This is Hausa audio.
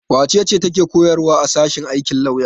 Wace ce take koyarwa a sashen aikin lafiya?